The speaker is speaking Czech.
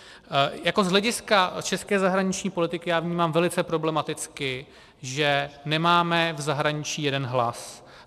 Jako z hlediska české zahraniční politiky já vnímám velice problematicky, že nemáme v zahraničí jeden hlas.